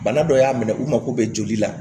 Bana dɔ y'a minɛ u mako bɛ joli la